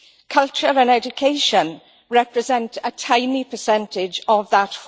Culture and education represent a tiny percentage of that